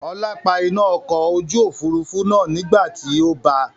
Ọlá pa iná ọkọ̀ ojú Òfurufú náà nígbàti ó bà.